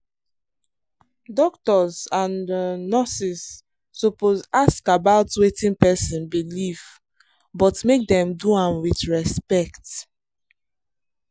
doctors and um nurses suppose ask about wetin person believe but make dem do am with respect.